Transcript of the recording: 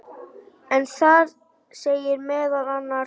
en þar segir meðal annars